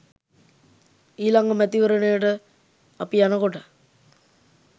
ඊළඟ මැතිවරණයට අපි යනකොට